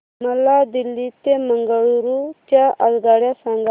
मला दिल्ली ते बंगळूरू च्या आगगाडया सांगा